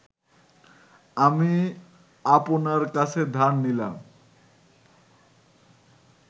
আমি আপনার কাছে ধার নিলাম